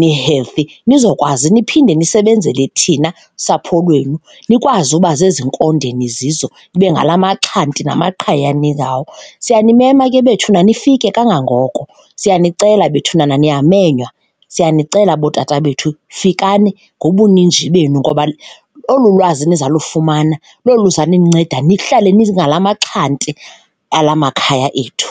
ni-healthy, nizokwazi niphinde ndisebenzele thina sapho lwenu, nikwazi uba zezinkonde nizizo, nibe ngala maxhanti namaqhayiya ningawo. Siyanimema ke bethuna nifike kangangoko, siyanicela bethunana niyamenywa, siyanicela bootata bethu fikani ngobuninzi benu ngoba olu lwazi niza lufumana lolu luza ninceda nihlale ningala maxhanti alamakhaya ethu.